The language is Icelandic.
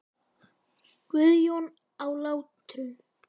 Guðjón á Látrum.